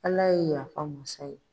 Ala ye yafa masa ye.